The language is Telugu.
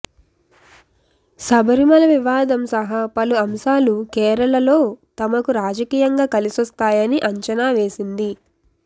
శబరిమల వివాదం సహా పలు అంశాలు కేరళలో తమకు రాజకీయంగా కలిసొస్తాయని అంచనా వేసింది